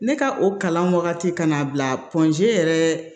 Ne ka o kalan wagati kan'a bila yɛrɛ